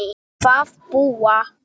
að búa.